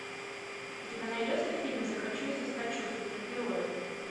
у тебя найдется фильм захочу и соскочу супергерои